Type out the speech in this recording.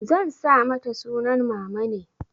Zan sa mata sunan mamane.